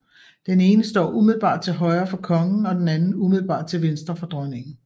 Den ene står umiddelbart til højre for kongen og den anden umiddelbart til venstre for dronningen